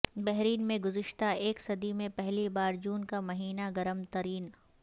بحرین میں گذشتہ ایک صدی میں پہلی بار جون کا مہینہ گرم ترین